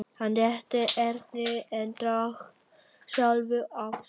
Hann rétti Erni en drakk sjálfur af stút.